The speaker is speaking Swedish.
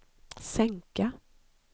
sänka